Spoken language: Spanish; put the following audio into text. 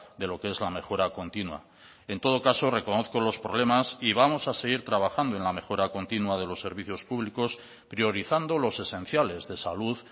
de lo que es la mejora continua en todo caso reconozco los problemas y vamos a seguir trabajando en la mejora continua de los servicios públicos priorizando los esenciales de salud